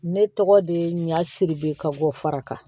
Ne tɔgɔ de ye ɲa siribe ka bɔ faraka